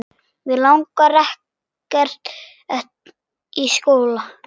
Mig langar ekkert í skóla.